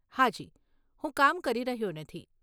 હાજી, હું કામ કરી રહ્યો નથી.